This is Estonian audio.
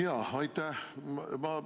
Jaa, aitäh!